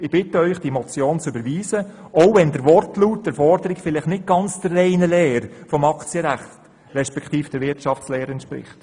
Ich bitte Sie, diese Motion zu überweisen, auch wenn ihr Wortlaut nicht ganz der reinen Lehre des Aktienrechts bzw. der Wirtschaftslehre entspricht.